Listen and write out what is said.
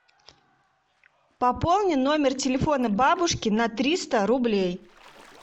пополни номер телефона бабушки на триста рублей